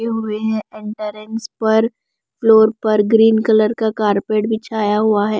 हुए हैं एंट्रेंस पर फ्लोर पर ग्रीन कलर का कारपेट बिछाया हुआ है।